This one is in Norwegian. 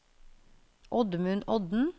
Oddmund Odden